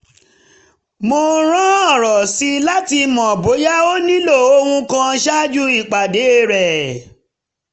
mo rán ọ̀rọ̀ sí i láti mọ bóyá ó nílò ohun kan ṣáájú ìpàdé rẹ̀